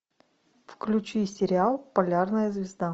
включи сериал полярная звезда